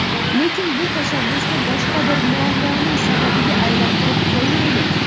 lekin bu tashabbusni boshqa bir muammoning sababiga aylantirib qo‘ymaylik.